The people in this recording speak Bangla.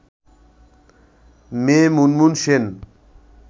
মেয়ে মুনমুন সেন